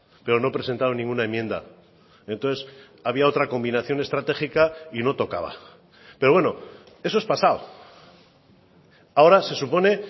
pero no presentaron ninguna enmienda entonces había otra combinación estratégica y no tocaba pero bueno eso es pasado ahora se supone